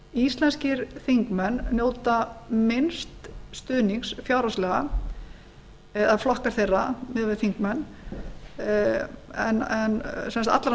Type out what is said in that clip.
íslenskir þingmenn njóta minnst stuðnings fjárhagslega eða flokkar þeirra miðað við þingmenn en sem sagt allra